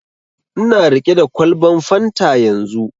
Ina riƙe da kwalban fanta yanzu